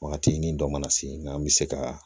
Wagati ni dɔ mana se nka an be se kaa